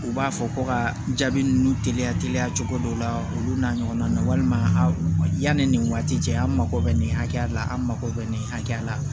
U b'a fɔ ko ka jaabi ninnu teliya teliya cogo dɔ la olu n'a ɲɔgɔnna walima a yani nin waati cɛ an mago bɛ nin hakɛya la an mago bɛ nin hakɛya la